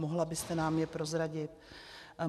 Mohla byste nám je prozradit?